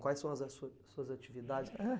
Quais são as as su suas atividades?